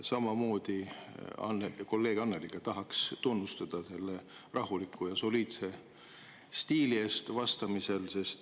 Samamoodi nagu kolleeg Annely tahaksin teid tunnustada rahuliku ja soliidse stiili eest vastamisel.